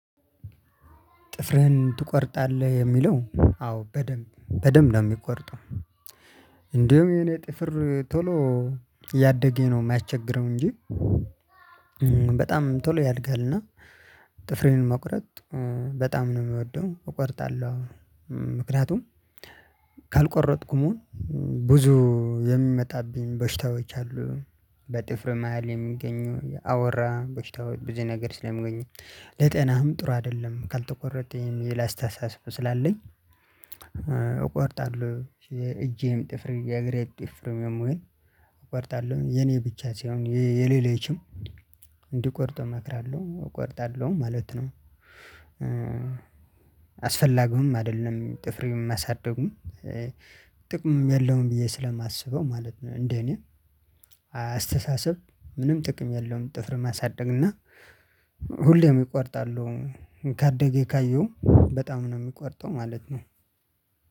ጥፍርህን ትቆርጣለህ የሚለው አዎ በደንብ በደንብ ነው የሚቆርጠው። እንዲሁም የኔ ጥፍር ቶሎ እያደገ ነው የማያስቸግረው እንጂ። በጣም ቶሎ ያድጋልና። ጥፍሬን መቁረጥ በጣም ነው የምወደው እቆርጣለሁ። ምክንያቱም ካልቆረጥኩም ብዙ የሚመጣብኝ በሽታዎች አሉ። በጥፍር መሃል የሚገኘው አወራ በሽታዎች ብዙ ነገር ስለሚገኘው ለጤናም ጥሩ አይደለም ካልተቆረጠም የሚል አስተሳሰብ ስላለኝ። እቆርጣለሁ እጄም ጥፍር የእግሬ ጥፍር ምን እቆርጣለሁ የኔ ብቻ ሳይሆን የሌሎችም እንዲቆርጡ እመክራለሁ እቆርጣለሁ ማለት ነው። አስፈላጊም አይደለም ጥፍርን ማሳደጉ። ጥቅምም የለውም ብየ ስለማስበው እንደእኔ። አስተሳሰብ ምንም ጥቅም የለውም ጥፍር ማሳደግ እና ሁሌም እቆርጣለሁ። ካደገ ካየው በጣም ነው የሚቆርጠው ማለት ነው።